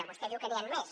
vostè diu que n’hi han més